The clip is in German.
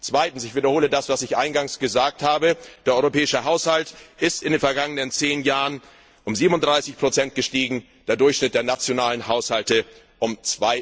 Zweitens, ich wiederhole das, was ich eingangs gesagt habe Der europäische Haushalt ist in den vergangenen zehn Jahren um 37 gestiegen, der Durchschnitt der nationalen Haushalte um